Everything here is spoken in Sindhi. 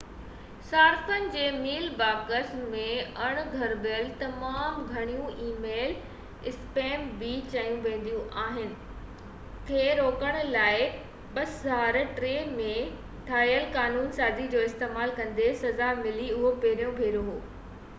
صارفن جي ميل باڪسن ۾ اڻ گهربل تمام گهڻيون اي ميل اسپيم بہ چيو ويندو آهي کي روڪڻ لاءِ 2003 ۾ ٺاهيل قانون سازي جو استعمال ڪندي سزا ملي اهو پهريون ڀيرو هو